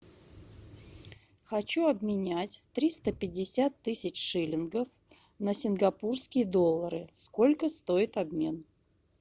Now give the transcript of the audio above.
хочу обменять триста пятьдесят тысяч шиллингов на сингапурские доллары сколько стоит обмен